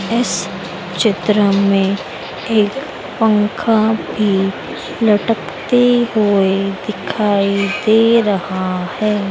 इस चित्र में एक पंखा भी लटकते हुए दिखाई दे रहा है।